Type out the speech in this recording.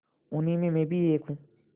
उन्हीं में मैं भी एक हूँ